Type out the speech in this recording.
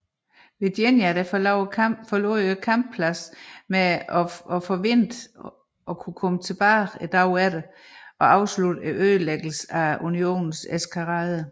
Virginia forlod kamppladsen med forventningen om at kunne vende tilbage dagen efter og afslutte ødelæggelsen af Unionens eskadre